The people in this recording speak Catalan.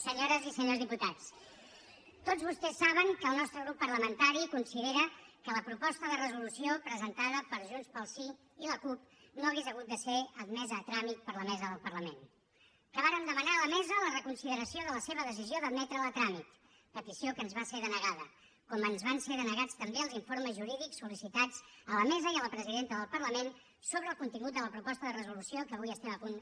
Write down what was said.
senyores i senyors diputats tots vostès saben que el nostre grup parlamentari considera que la proposta de resolució presentada per junts pel sí i la cup no hauria hagut de ser admesa a tràmit per la mesa del parlament que vàrem demanar a la mesa la reconsideració de la seva decisió d’admetre la a tràmit petició que ens va ser denegada com ens van ser denegats també els informes jurídics sol·licitats a la mesa i a la presidenta del parlament sobre el contingut de la proposta de resolució que avui estem a punt